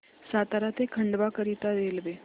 सातारा ते खंडवा करीता रेल्वे